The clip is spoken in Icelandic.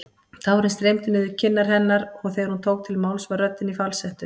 Tárin streymdu niður kinnar hennar og þegar hún tók til máls var röddin í falsettu.